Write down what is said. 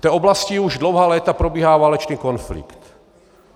V té oblasti už dlouhá léta probíhá válečný konflikt.